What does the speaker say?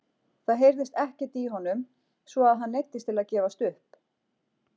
Það heyrðist ekkert í honum svo að hann neyddist til að gefast upp!